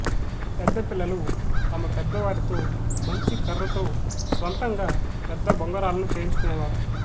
పెద్ద పిల్లలు తమ పెద్ద వారితో మంచి కర్రతో స్వంతంగా పెద్ద బొంగరాలను చేయించుకునే వారు